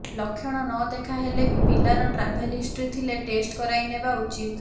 ଲକ୍ଷଣ ନ ଦେଖା ହେଲେ ବି ପିଲାର ଟ୍ରାଭେଲ୍ ହିଷ୍ଟ୍ରୀ ଥିଲେ ଟେଷ୍ଟ କରାଇ ନେବା ଉଚିତ୍